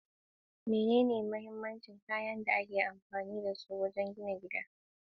Menene mahimman kayan aikin da ake amfani da su wajen gina gini?